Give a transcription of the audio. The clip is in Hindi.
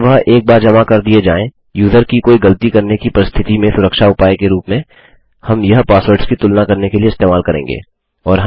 जब वह एक बार जमा कर दिए जाएँ यूज़र की कोई गलती करने की परिस्थति में सुरक्षा उपाय के रूप में हम यह पासवर्ड्स की तुलना करने के लिए इस्तेमाल करेंगे